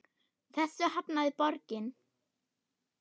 Þessu hafnaði borgin.